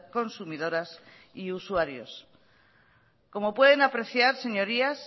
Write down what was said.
consumidoras y usuarios como pueden apreciar señorías